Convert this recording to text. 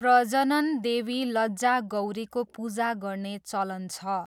प्रजनन देवी लज्जा गौरीको पूजा गर्ने चलन छ।